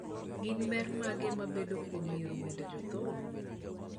Gin ber mage mabedoe kuom yiero wend jothum ?